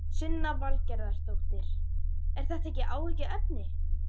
Sunna Valgerðardóttir: Er þetta ekki áhyggjuefni?